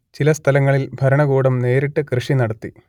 ചില സ്ഥലങ്ങളിൽ ഭരണകൂടം നേരിട്ട് കൃഷി നടത്തി